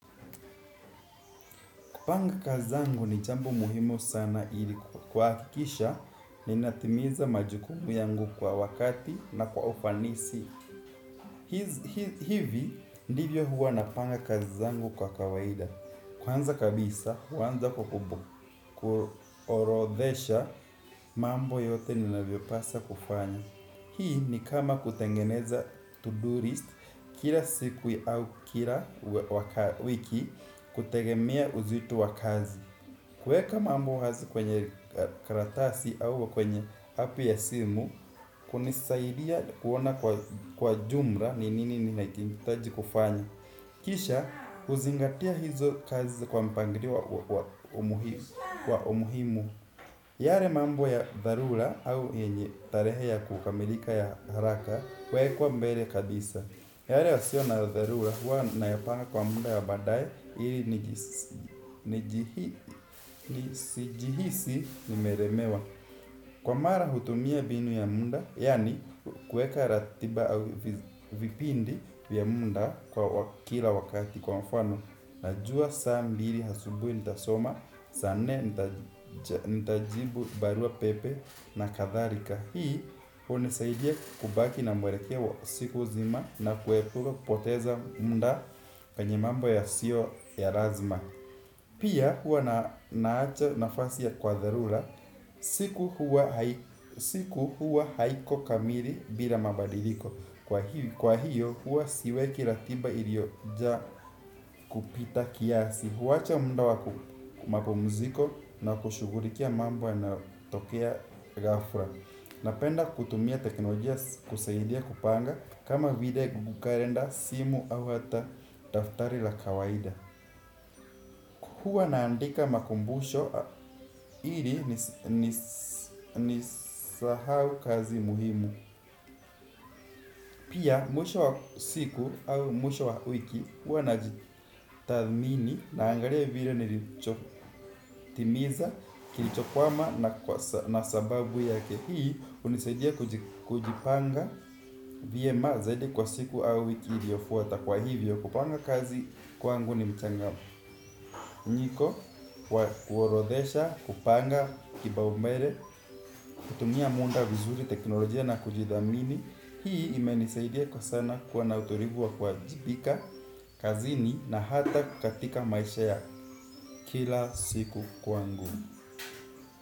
Kupanga kazi zangu ni jambo muhimu sana ili kuhakikisha ninatimiza majukumu yangu kwa wakati na kwa ufanisi. Hivi ndivyo huwa napanga kazi zangu kwa kawaida. Kwanza kabisa, huanza kwa ku, kuorodhesha mambo yote ninavyopaswa kufanya. Hii ni kama kutengeneza to-do list kila siku au kila wiki kutegemea uzito wa kazi. Kuweka mambo wazi kwenye karatasi au kwenye api ya simu, hunisaidia kuona kwa jumla ni nini ninachohitaji kufanya. Kisha huzingatia hizo kazi kwa mpangilio wa umuhimu. Yale mambo ya dharura au yenye tarehe ya kukamilika ya haraka huwekwa mbele kabisa. Yale yasio na dharura huwa na yapanga kwa muda wa baadaye ili nisijihisi nimelemewa. Kwa mara hutumia mbinu ya muda, yani kuweka ratiba au vipindi vya muda kwa kila wakati kwa mfano, najua saa mbili asubuhi nitasoma, saa nne nitajibu barua pepe na kadhalika. Hii hunisaidia kubaki na mwelekeo wa siku nzima na kuepuka kupoteza muda kwenye mambo ya sio ya lazima. Pia hua nawacha nafasi ya kwa dharura siku huwa haiko kamili bila mabadiliko. Kwa hiyo huwa siweki ratiba iliojaa kupita kiasi. Huwacha muda wa ku mapumziko na kushughulikia mambo yanayo tokea ghafla. Napenda kutumia teknolojia kusaidia kupanga kama vile google kalenda, simu au hata daftari la kawaida. Huwa naandika makumbusho ili nisi sahau kazi muhimu. Pia mwisho wa siku au mwisho wa wiki huwa najidhamini naangalia vile nilichotimiza kilichokwama na sababu yake. Hii hunisaidia kujipanga vyema zaidi kwa siku au wiki iliyofuata kwa hivyo kupanga kazi kwangu ni mchanganyiko. Kuorodhesha, kupanga kipaumbele, kutumia muda vizuri, teknolojia na kujithamini. Hii imenisaidia kwa sana kuwa na utulivu wa kuajibika, kazini na hata katika maisha ya kila siku kwangu.